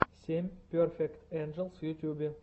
семь перфект энджелс в ютюбе